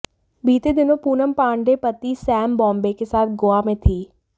बीते दिनों पूनम पांडे पति सैम बॉम्बे के साथ गोवा में थीं